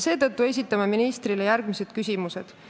Seetõttu esitame ministrile järgmised küsimused.